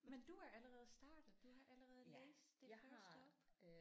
Men du er allerede startet du har allerede læst det første op